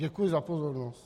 Děkuji za pozornost.